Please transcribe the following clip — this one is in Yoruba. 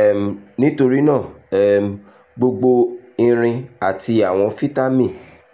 um nítorí náà um gbogbo irin àti àwọn fítámì